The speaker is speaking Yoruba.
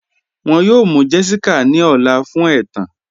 Wọn yọ̀ọ̀ mụ́ Jessica ní ọ̀lá fun ètán.